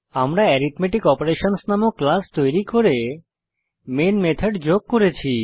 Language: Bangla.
আমরা অ্যারিথমেটিক অপারেশনস নামক ক্লাস তৈরী করে মেন মেথড যোগ করেছি